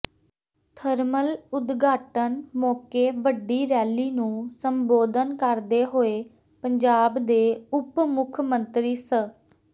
thermal ਉਦਘਾਟਨ ਮੌਕੇ ਵੱਡੀ ਰੈਲੀ ਨੂੰ ਸੰਬੋਧਨ ਕਰਦੇ ਹੋਏ ਪੰਜਾਬ ਦੇ ਉਪ ਮੁੱਖ ਮੰਤਰੀ ਸ